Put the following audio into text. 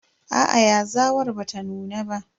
Aa yazawar bata nuna ba.